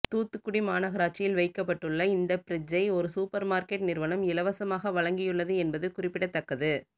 தூத்துக்குடி மாநகராட்சியில் வைக்கப்பட்டுள்ள இந்த பிரிட்ஜ்ஜை ஒரு சூப்பர் மார்கெட் நிறுவனம் இலவசமாக வழங்கியுள்ளது என்பது குறிப்பிடத்தக்கது